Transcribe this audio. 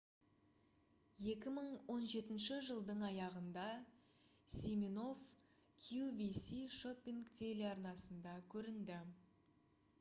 2017 жылдың аяғында симинофф qvc шоппинг телеарнасында көрінді